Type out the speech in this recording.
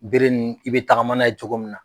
Bere nun i bɛ tagama n'a ye cogo min na.